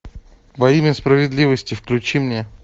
во имя справедливости включи мне